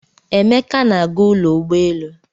Emeka na-aga ụlọ ụgbọelu.